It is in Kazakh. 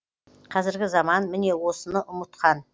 қазіргі заман міне осыны ұмытқан